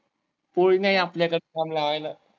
पोळी नाही आपल्याकडं जाम लावायला.